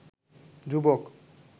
যুবক